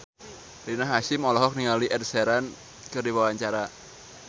Rina Hasyim olohok ningali Ed Sheeran keur diwawancara